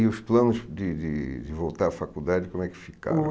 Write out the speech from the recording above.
E os planos de de de voltar à faculdade, como é que ficaram?